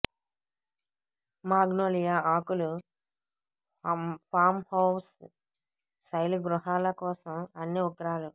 magnolia ఆకులు farmhouse శైలి గృహాల కోసం అన్ని ఉగ్రాలు